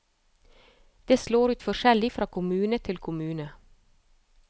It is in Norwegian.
Det slår ut forskjellig fra kommune til kommune.